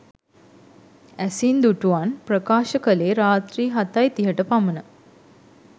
ඇසින් දුටුවන් ප්‍රකාශ කළේ රාත්‍රී හතයි තිහට පමණ